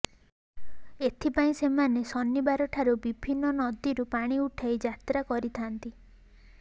ଏଥିପାଇଁ ସେମାନେ ଶନିବାରଠାରୁ ବିଭିନ୍ନ ନଦୀରୁ ପାଣି ଉଠାଇ ଯାତ୍ରା କରିଥାନ୍ତି